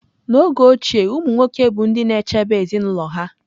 N'oge ochie, umụ nwoke bụ ndị na-echebe ezinụlọ ha.